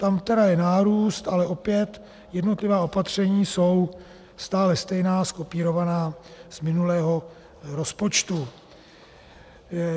Tam je tady nárůst, ale opět jednotlivá opatření jsou stále stejná, zkopírovaná z minulého rozpočtu.